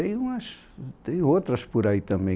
E tem umas, tem outras por aí também.